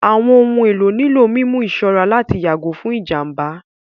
Àwọn ohun èlò nílò mímú ìṣọ́ra láti yàgò fún ìjàmbá